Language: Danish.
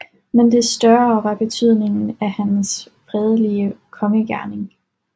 Men des større var betydningen af hans fredelige kongegerning